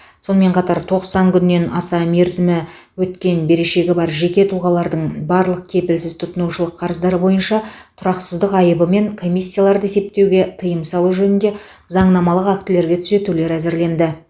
сонымен қатар тоқсан күннен аса мерзімі өткен берешегі бар жеке тұлғалардың барлық кепілсіз тұтынушылық қарыздары бойынша тұрақсыздық айыбы мен комиссияларды есептеуге тыйым салу жөнінде заңнамалық актілерге түзетулер әзірленді